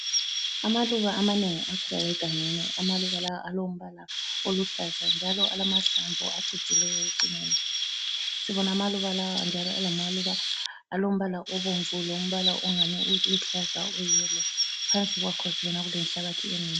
Amaluba amanengi akhula egangeni. Amaluba la alombala oluhlaza njalo alamahlamvu acijileyo ekucineni. Sibona amaluba lawa njalo engamaluba alombala obomvu lombala ongani uluhlaza uyiyelo. Phansi kwakho sibona elenhlabathi enengi.